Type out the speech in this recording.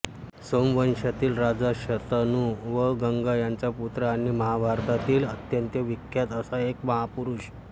सोमवंशातील राजा शंतनू व गंगा यांचा पुत्र आणि महाभारतातील अत्यंत विख्यात असा एक महापुरुष